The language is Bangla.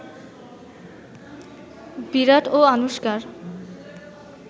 বিরাট ও আনুশকার